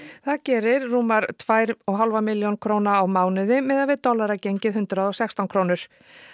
það gerir rúmar tvær og hálfa milljón króna á mánuði miðað við dollaragengið hundrað og sextán krónur